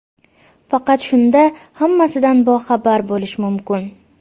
Faqat shunda hammasidan boxabar bo‘lish mumkin.